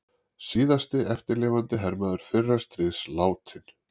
Síðasti eftirlifandi hermaður fyrra stríðs látinn